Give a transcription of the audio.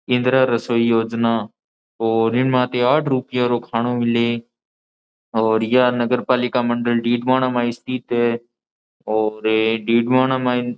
केंद्र रसोई योजना और इनमाते आठ रूपया रो खानो मिले और यह नगर पालिका मंडल डीडवाना में स्थित है और डीडवाना मायने --